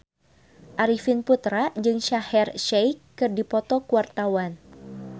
Arifin Putra jeung Shaheer Sheikh keur dipoto ku wartawan